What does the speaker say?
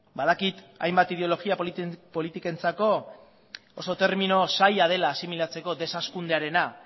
badakit hainbat ideologia politikentzako oso termino zaila dela asimilatzeko deshazkundearena